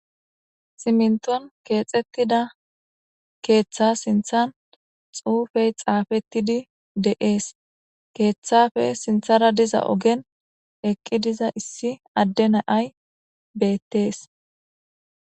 Siminton kexetida keththa sinththan xufey xafetidi dess keththappe sinththan issi nay eqidi dizay beettes